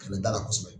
da la kosɛbɛ